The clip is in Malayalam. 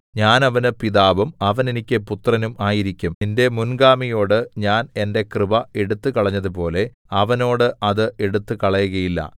ഞാൻ അവന് പിതാവും അവൻ എനിക്ക് പുത്രനും ആയിരിക്കും നിന്റെ മുൻഗാമിയോട് ഞാൻ എന്റെ കൃപ എടുത്തുകളഞ്ഞതുപോലെ അവനോട് അത് എടുത്തു കളകയില്ല